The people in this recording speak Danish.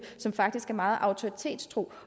som faktisk er meget autoritetstro